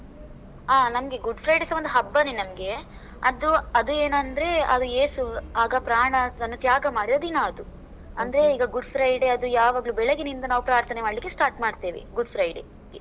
ಆ, ನಮ್ಗೆ Good Friday ಸ ಒಂದು ಹಬ್ಬನೇ ನಮ್ಗೆ. ಅದು, ಅದು ಏನಂದ್ರೆ, ಅದು ಏಸು ಆಗ ಪ್ರಾಣವನ್ನು ತ್ಯಾಗ ಮಾಡಿದ ದಿನ ಅದು. ಅಂದ್ರೆ, ಈಗ Good Friday ಅದು ಯಾವಾಗ್ಲೂ ಬೆಳಗಿನಿಂದ ನಾವು ಪ್ರಾರ್ಥನೆ ಮಾಡ್ಲಿಕ್ಕೆ start ಮಾಡ್ತೇವೆ. Good Friday ಗೆ.